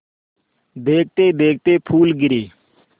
देखते देखते फूल गिरे